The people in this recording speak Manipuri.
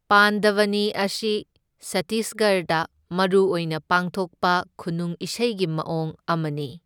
ꯄꯥꯟꯗꯚꯅꯤ ꯑꯁꯤ ꯁꯠꯇꯤꯁꯒꯔꯗ ꯃꯔꯨꯑꯣꯏꯅ ꯄꯥꯡꯊꯣꯛꯄ ꯈꯨꯅꯨꯡ ꯏꯁꯩꯒꯤ ꯃꯑꯣꯡ ꯑꯃꯅꯤ꯫